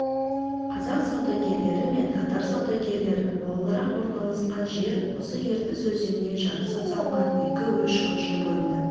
қазақ саудагерлері мен татар саудагерлері молырақ орналасқан жер осы ертіс өзеніне жарыса салынған екі-үш көше бойында